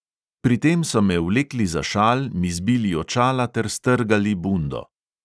Pri tem so me vlekli za šal, mi zbili očala ter strgali bundo.